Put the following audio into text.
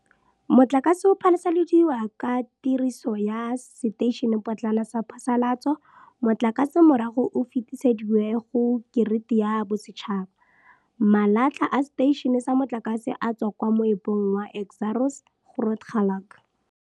Motlakase o phasaladiwa ka tiriso ya seteišenepotlana sa phasalatso. Motlakase morago o fetisediwe go kiriti ya bosetšhaba. Malatlha a seteišene sa motlakase a tswa kwa moepong wa Exxaro's Grootegeluk.